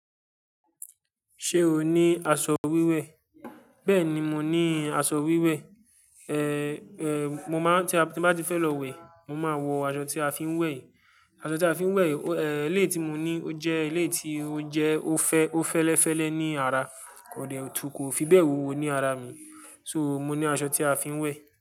Ṣé o ní aṣọ wíwẹ̀? Bẹ́ẹ̀ni, mo ní aṣọ wíwẹ̀. Ehn ehn, mo máa-- tí a, tí bá ti fẹ́ lọ wẹ̀, mo máa wọ aṣọ tí a fi ń wẹ̀. Aṣọ tí a fi ń wẹ̀, ehn, eléyi tí mo ní ó jẹ́ eléyi tí ó jẹ́ ó fẹ́, ó fẹ́lẹ́fẹ́lẹ́ ní ara, kò dẹ̀, tún kò fi bẹ́ẹ̀ wò ó ní ara mi. So, mo ní aṣọ tí a fi ń wẹ̀